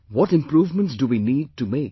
What improvements do we need to make